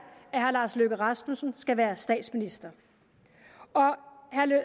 at herre lars løkke rasmussen skal være statsminister og herre